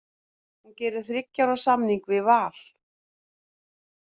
Hún gerir þriggja ára samning við Val.